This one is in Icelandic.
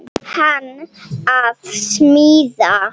Hann að smíða.